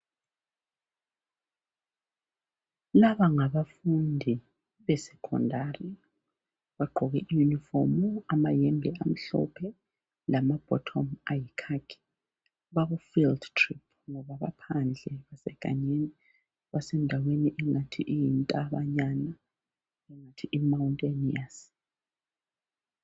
Laba ngabafundi be secondary bagqoke yunifomu amayembe amhlophe lama bhothomu ayikhakhi baku field trip ngoba baphandle basegangeni basendaweni engathi iyintabanyana ingathi imawunteniyasi.